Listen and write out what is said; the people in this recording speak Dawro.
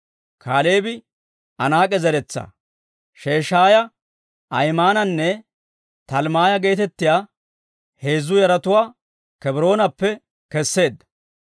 Kaaleebi Anaak'e zeretsaa, Sheshaaya, Ahimaananne Talmmaaya geetettiyaa heezzu yaratuwaa Kebroonappe keseedda.